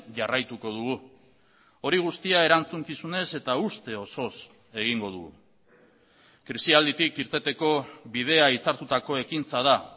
jarraituko dugu hori guztia erantzukizunez eta uste osoz egingo dugu krisialditik irteteko bidea hitzartutako ekintza da